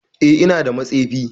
Eh ina da matsefi.